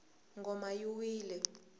ngoma yi wile